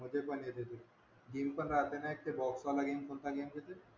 मध्ये पण येते ती गेम पण राहते ना बॉक्स वाला गेम कोणता गेम असते ते